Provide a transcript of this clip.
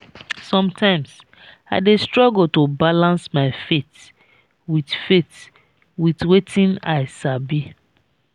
sometimes i dey struggle to balance my faith with faith with wetin i sabi.